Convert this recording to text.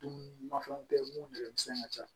Dumunimafɛnw bɛ yen minnu bɛ misɛnya ka ca